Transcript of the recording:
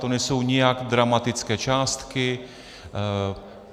To nejsou nijak dramatické částky.